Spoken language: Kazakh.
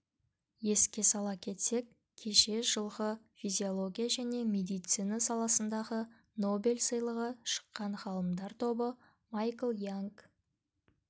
еске сала кетсек кеше жылғы физиология және медицина саласындағы нобель сыйлығы шыққан ғалымдар тобы майкл янг